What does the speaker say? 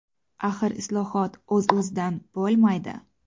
Axir islohot o‘z-o‘zidan bo‘lmaydi.